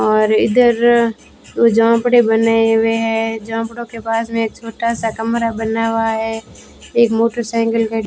और इधर झोपडी बने हुए हैं झोपडी के पास में छोटा सा कमरा बना हुआ है एक मोटरसाइकिल --